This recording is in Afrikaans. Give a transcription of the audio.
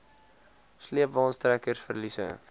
sleepwaens trekkers verliese